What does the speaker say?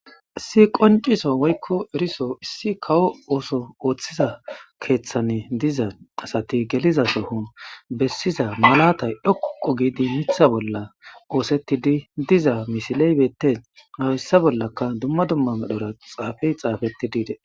issi qonciso woykko eriso issi kawo ooso ooththiza keeththane diza asati geliza sohon bessiza malatay dhoqo giidi mitha bolla oosettidi diza misiley bettes hayssa bollaka dumma dumma medhora xaafey xaafeti de'ees